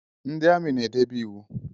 Ndị amị n'edebe íwú